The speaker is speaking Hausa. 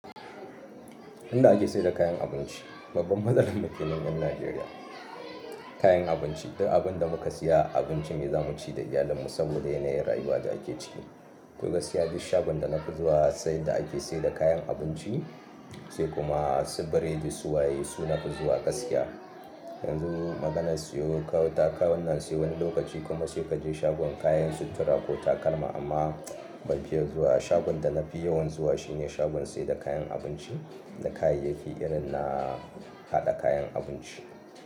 Inda ake sayar da kayan abinci, babban mazalin mu kenan ƴan Najeriya. Kayan abinci duk abin da muka siya, abinci ne zamu ci da iyalin mu saboda yanayin rayuwa da ake ciki. To gaksiya duk shagon da nafi zuwa, sai inda ake sayar da kayan abinci, sai kuma su biredi suwaye, su na fi zuwa gaskiya. Yanzu maganar siyo kawu takawun nan sai wani lokaci kuma sai kaje shagon kayan sutura ko takalma amma ban fiye zuwa ba, shagon da nafi yawan zuwa shine shagon sayar da kayan abinci da kayayyaki irin na haɗa kayan abinci.